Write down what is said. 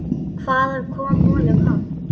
Hvaðan kom honum hann?